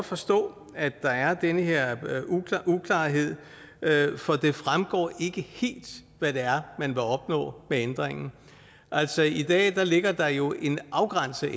forstå at der er den her uklarhed for det fremgår ikke helt hvad det er man vil opnå med ændringen altså i dag ligger der jo en afgrænset